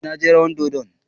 Eh, na je rawan dodon.